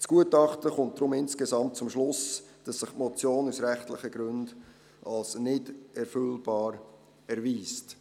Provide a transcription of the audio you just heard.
Das Gutachten kommt deshalb insgesamt zum Schluss, dass sich die Motion aus rechtlichen Gründen als nicht erfüllbar erweist.